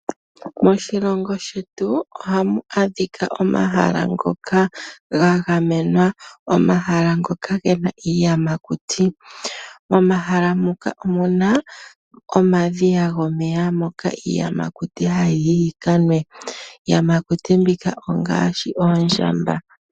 Moshilongo shetu ohamu adhika omahala ngoka ngangamenwa , omahala ngoka ngena iiyamakuti momahala moka omuna omadhiya gomeya moka iiyamakuti hayi yikanwe, iiyamakuti mbika ongashi oondjamba.